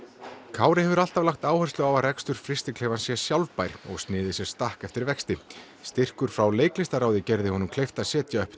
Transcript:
Kári hefur alltaf lagt áherslu á að rekstur frystiklefans sé sjálfbær og sniðið sér stakk eftir vexti styrkur frá leiklistarráði gerði honum kleift að setja upp